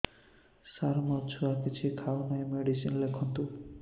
ସାର ମୋ ଛୁଆ କିଛି ଖାଉ ନାହିଁ ମେଡିସିନ ଲେଖନ୍ତୁ